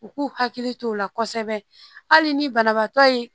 U k'u hakili t'o la kosɛbɛ hali ni banabaatɔ ye